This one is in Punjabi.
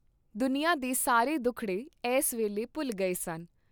ਦੁਨੀਆਂ ਦੇ ਸਾਰੇ ਦੁਖੜੇ ਐੱਸ ਵੇਲੇ ਭੁਲ ਗਏ ਸਨ।